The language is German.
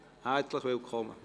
Herzlich willkommen!